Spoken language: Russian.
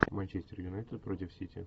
манчестер юнайтед против сити